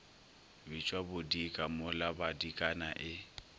bitšwa bodika mola badikana e